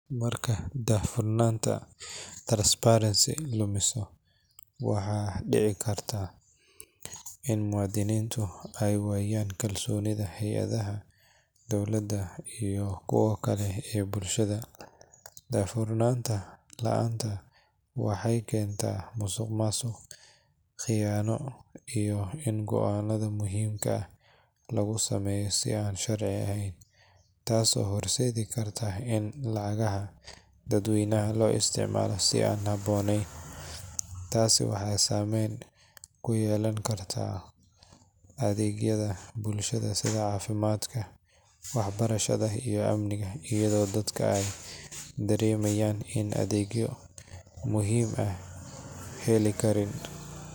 Marka daahfurnaanta transparency lumiso, waxaa dhici karta in muwaadiniintu ay waayaan kalsoonida hay'adaha dowladda iyo kuwa kale ee bulshada. Daahfurnaan la’aanta waxay keentaa musuqmaasuq, khiyaano, iyo in go’aanada muhiimka ah lagu sameeyo si aan sharci ahayn, taasoo horseedi karta in lacagaha dadweynaha loo isticmaalo si aan habboonayn. Tani waxay saameyn ku yeelan kartaa adeegyada bulshada sida caafimaadka, waxbarashada, iyo amniga, iyadoo dadka ay dareemayaan in adeegyo muhiim ah aysan heli karin.